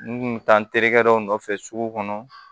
N kun mi taa n terikɛ dɔ nɔfɛ sugu kɔnɔ